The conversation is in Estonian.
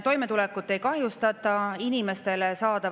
Toimetulekut ei kahjustata, inimeste hüved ei vähene.